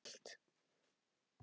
Með þér get ég allt.